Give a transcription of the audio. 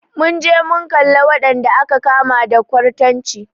Mun je mun kalla wadanda aka kama da kwartanci.